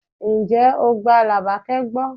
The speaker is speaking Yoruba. Ǹjẹ́ o gba Labake gbọ́?